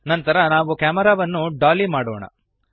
ನಂತರ ನಾವು ಕ್ಯಾಮೆರಾವನ್ನು ಡಾಲಿ ಮಾಡೋಣ